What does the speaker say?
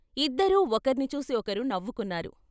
ఇద్దరూ ఒకర్ని చూసి ఒకరు నవ్వుకున్నారు.